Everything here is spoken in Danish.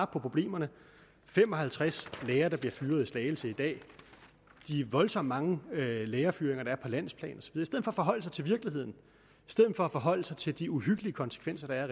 problemerne fem og halvtreds lærere der bliver fyret i slagelse i dag de voldsomt mange lærerfyringer der sker på landsplan i stedet for at forholde sig til virkeligheden i stedet for at forholde sig til de uhyggelige konsekvenser der er